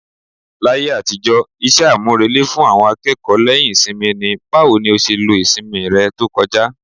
Láyé àtijọ́, iṣẹ́ àmúrelé fún àwọn akẹ́kọ̀ọ́ lẹ́yìn ìsinmi ni "Báwo ni ó ṣe lo ìsinmi rẹ tó kọjá?"